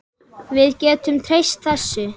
Við getum treyst þessu.